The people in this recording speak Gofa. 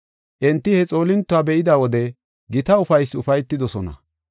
Enti he xoolintuwa be7ida wode gita ufaysi ufaytidosona.